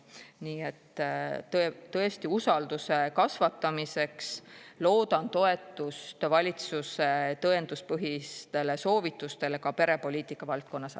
Nii et tõesti, usalduse kasvatamiseks loodan toetust valitsuse tõenduspõhistele soovitustele ka perepoliitika valdkonnas.